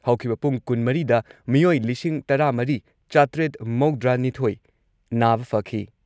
ꯍꯧꯈꯤꯕ ꯄꯨꯡ ꯀꯨꯟꯃꯔꯤꯗ ꯃꯤꯑꯣꯏ ꯂꯤꯁꯤꯡ ꯇꯔꯥꯃꯔꯤ ꯆꯥꯇꯔꯦꯠ ꯃꯧꯗ꯭ꯔꯥꯅꯤꯊꯣꯏ ꯅꯥꯕ ꯐꯈꯤ ꯫